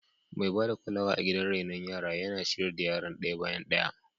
Mai ba da kulawa a gidan raino yara yana ciyar da yaran daya bayan daya.